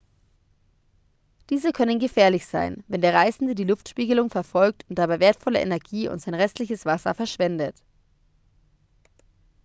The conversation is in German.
diese können gefährlich sein wenn der reisende die luftspiegelung verfolgt und dabei wertvolle energie und sein restliches wasser verschwendet